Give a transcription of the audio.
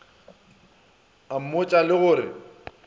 a mmotša le go re